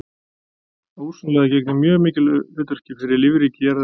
Ósonlagið gegnir mjög mikilvægu hlutverki fyrir lífríki jarðarinnar.